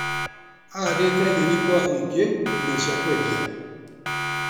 Ahandĩte nyeni kwa wũingi nginya cia kwendia.